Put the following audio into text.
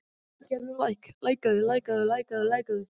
Ísveig, hvernig verður veðrið á morgun?